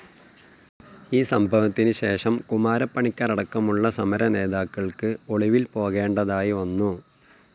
ഈ സംഭവത്തിന് ശേഷം കുമാരപ്പണിക്കരടക്കമുള്ള സമര നേതാക്കൾക്ക് ഒളിവിൽ പോകേണ്ടതായി വന്നു.